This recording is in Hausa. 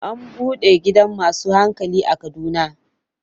An bude gidan masu hankali a Kaduna.